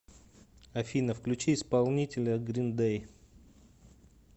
афина включи исполнителя грин дэй